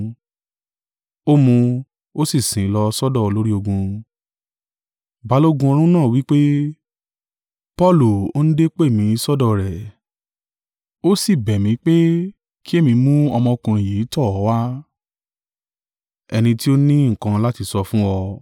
Ó mú un, ó sì sìn ín lọ sọ́dọ̀ olórí ogun. Balógun ọ̀rún náà wí pé, “Paulu òǹdè pè mi sọ́dọ̀ rẹ̀, ó síbẹ̀ mí pé ki èmi mú ọmọkùnrin yìí tọ̀ ọ́ wá, ẹni tí ó ní nǹkan láti sọ fún ọ.”